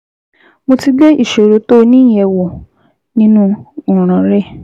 Mo ti gbé ìṣòro tó o ní yẹ̀ wò nínú ọ̀ràn rẹ